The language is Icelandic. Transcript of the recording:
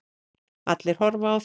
Allir að horfa á þig.